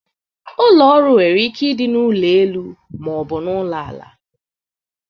Ụlọ ọrụ nwere ike ịdị n'ụlọ elu ma ọ bụ n'ụlọ ala.